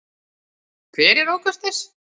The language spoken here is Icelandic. Hver er ókurteis?